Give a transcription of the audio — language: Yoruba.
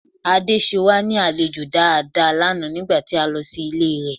Ade ṣe wá ní àlejò dáadáa lánàá nígbà tí a lọ sí ilé rẹ̀